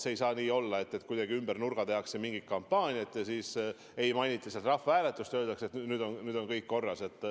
Ei saa nii olla, et kuidagi ümber nurga tehakse mingit kampaaniat, ei mainita rahvahääletust ja öeldakse, et sel juhul on kõik korras.